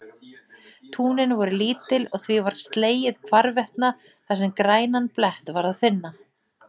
Túnin voru lítil og því var slegið hvarvetna þar sem grænan blett var að finna.